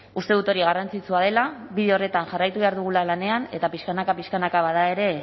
uste dut hori garrantzitsua dela bide horretan jarraitu behar dugula lanean eta pixkanaka pixkanaka bada ere